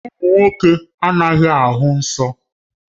Ụmụ nwoke anaghị ahụ nsọ